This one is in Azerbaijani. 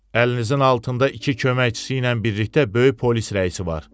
Əlinizin altında iki köməkçisi ilə birlikdə böyük polis rəisi var.